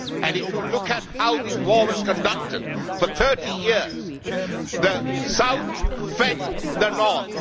If you look at how this war was conducted, for 30 years the south fed the north.